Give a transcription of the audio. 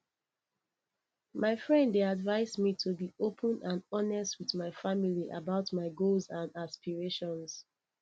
my friend dey advise me to be open and honest with my family about my goals and aspirations